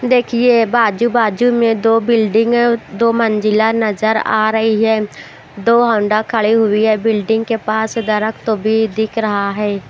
देखिए बाजू-बाजू में दो बिल्डिंग दो मंजिला नजर आ रही है दो हौंडा खड़ी हुई है बिल्डिंग के पास दरख्त भी दिख रहा है।